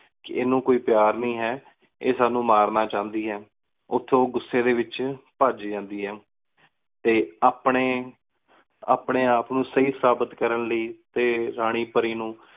ਕੀ ਇਨੁ ਕੋਈ ਪ੍ਯਾਰ ਨੀ ਹੈਂ, ਇਹ ਸਾਨੂੰ ਮਾਰਨਾ ਚੁਣਦੀ ਆ। ਓਥੋਂ ਓ ਗੁਸ੍ਸੇ ਦੇ ਵਿਚ ਭੱਜ ਜਾਂਦੀ ਆ। ਤੇ ਅਪਣੇ, ਆਪਣੇ ਆਪਨੂੰ ਸਹੀ ਸਾਬਤ ਕਰਨ ਲੈ, ਤੇ ਰਾਨੀ ਪਰੀ ਨੂੰ